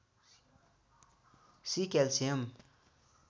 C calcium